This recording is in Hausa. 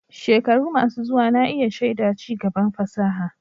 Shekaru masu zuwa na iya shaida ci gaban fasaha.